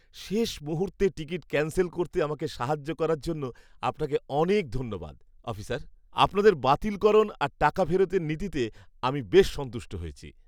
শেষ মুহূর্তে ticket cancel করতে আমাকে সাহায্য করার জন্য আপনাকে অনেক ধন্যবাদ, অফিসার; আপনাদের বাতিলকরণ আর টাকা ফেরতের নীতিতে আমি বেশ সন্তুষ্ট হয়েছি।